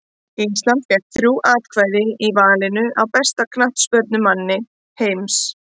Ísland fékk þrjú atkvæði í valinu á besta knattspyrnumanni heims.